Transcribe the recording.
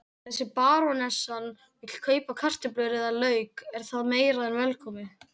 Þegar barónessan vill kaupa kartöflur eða lauk er það meira en velkomið.